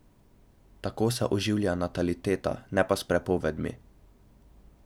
Tako se oživlja nataliteta, ne pa s prepovedmi.